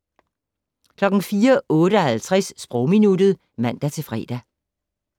04:58: Sprogminuttet (man-fre)